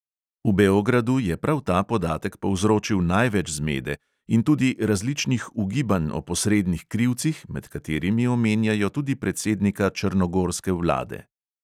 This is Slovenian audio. V beogradu je prav ta podatek povzročil največ zmede in tudi različnih ugibanj o posrednih krivcih, med katerimi omenjajo tudi predsednika črnogorske vlade.